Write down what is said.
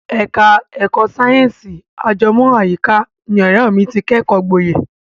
Ẹ̀ka ẹ̀kọ́ sáyẹ̀nsì ajẹmọ́ àyíká ni ọ̀rẹ́ mi ti kẹ́kọ̀ọ́ gboyè.